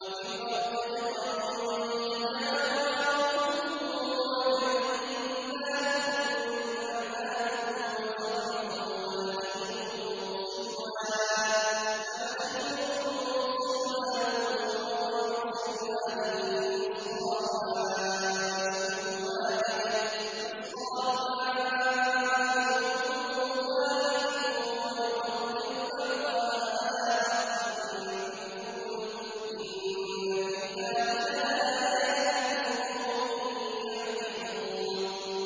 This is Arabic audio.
وَفِي الْأَرْضِ قِطَعٌ مُّتَجَاوِرَاتٌ وَجَنَّاتٌ مِّنْ أَعْنَابٍ وَزَرْعٌ وَنَخِيلٌ صِنْوَانٌ وَغَيْرُ صِنْوَانٍ يُسْقَىٰ بِمَاءٍ وَاحِدٍ وَنُفَضِّلُ بَعْضَهَا عَلَىٰ بَعْضٍ فِي الْأُكُلِ ۚ إِنَّ فِي ذَٰلِكَ لَآيَاتٍ لِّقَوْمٍ يَعْقِلُونَ